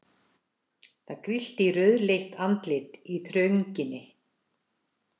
Það grillti í rauðleitt andlit í þrönginni.